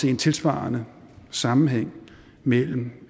en tilsvarende sammenhæng mellem